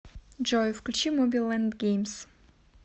джой включи моби лэнд геймс